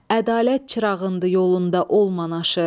Ədalət çırağındır yolunda olmanaşı.